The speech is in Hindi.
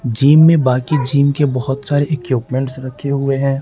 जिम में बाकि जिम के बहुत सारे इक्विपमेंट्स रखे हुए हैं।